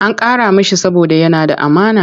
An karrama shi saboda yana da amana.